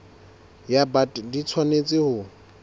ya bt di tshwanetse ho